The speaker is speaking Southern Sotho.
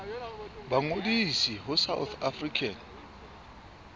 ba ngodise ho south african